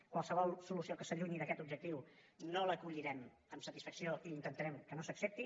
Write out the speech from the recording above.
qualsevol solució que s’allunyi d’aquest objectiu no l’acollirem amb satisfacció i intentarem que no s’accepti